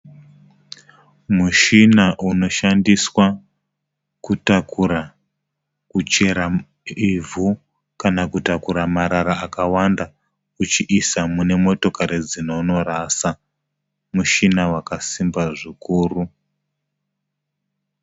Mushina unoshandiswa kutakura kuchera ivhu kana kutakura marara akawanda uchiisa mune motokari dzinonorasa. Mushina wakasimba zvikuru.